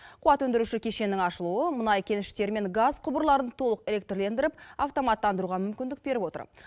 қуат өндіруші кешеннің ашылуы мұнай кеніштері мен газ құбырларын толық электрлендіріп автоматтандыруға мүмкіндік беріп отыр